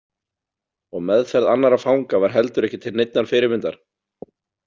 Og meðferð annarra fanga var heldur ekki til neinnar fyrirmyndar.